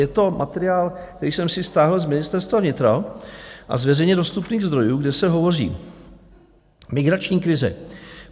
Je to materiál, který jsem si stáhl z Ministerstva vnitra a z veřejně dostupných zdrojů, kde se hovoří: Migrační krize.